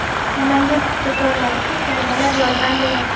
Namangan paxtakorlariga talabalar yordam beradi.